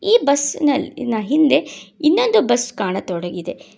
ಈ ಬಸ್ನಲ್ ನ ಹಿಂದೆ ಇನ್ನೊಂದು ಬಸ್ ಕಾಣತೊಡಗಿದೆ.